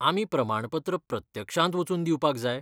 आमी प्रमाणपत्र प्रत्यक्षांत वचून दिवपाक जाय?